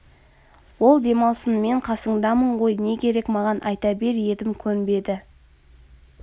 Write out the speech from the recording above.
ол демалсын мен қасыңдамын ғой не керек маған айта бер едім көнбеді